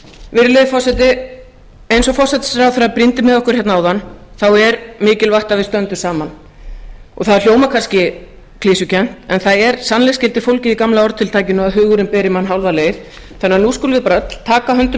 virðulegi forseti eins og forsætisráðherra brýndi með okkur hérna áðan er mikilvægt að við stöndum saman það hljómar kannski klisjukennt en það er sannleiksgildi fólgið í gamla orðatiltækinu að hugurinn beri mann hálfa leið þannig að nú skulum við bara öll taka höndum